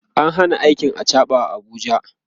an Hana aikin achaɓa a Abuja